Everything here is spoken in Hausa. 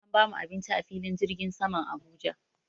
An bamu abinci a filin jirgin saman Abuja.